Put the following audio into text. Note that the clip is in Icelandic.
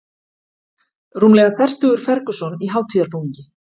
Rúmlega fertugur Ferguson í hátíðarbúningi